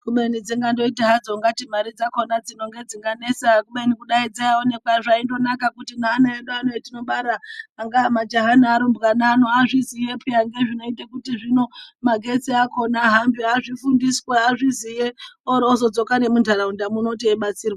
Kumeni dzingandoita hadzo ngatimari dzakona dzinonge dzinganetsa kudai dzaiwonekwa zvaindonaka kuti naana edu atinobara angaamajaya nearumbwa neanhu azviziye peya nezvinoite kuti zvino magetsi akona ahambe azvifundiswe azviziye orozodzoka nemundaraunda muno teyibatsirwa.